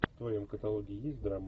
в твоем каталоге есть драмы